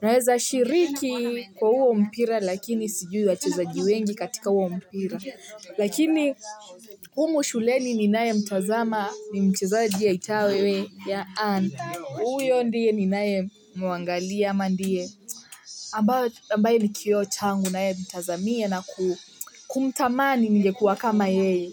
Naweza shiriki kwa huo mpira lakini sijui wachezaji wengi katika huo mpira. Lakini humu shuleni ninayemtazama ni mchezaji aitawe Ann. Huyo ndiye ninayemwangalia ama ndiye. Ambayo ambaye ni kioo changu nayemtazamia na kumtamani ningekuwa kama yeye.